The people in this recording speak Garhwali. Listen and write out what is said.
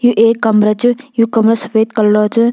एक कमरा च यु कमरा सफ़ेद कलर च।